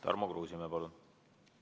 Tarmo Kruusimäe, palun!